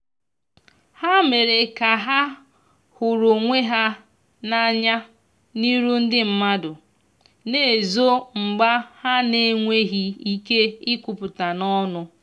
ha mere ka ha huru onwe ha na anya n'iru ndi madu na ezo mgba ha n enweghi ike ikwuputa n'onu